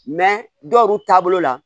dɔw taabolo la